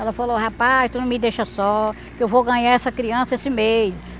Ela falou, rapaz, tu não me deixa só, que eu vou ganhar essa criança esse mês.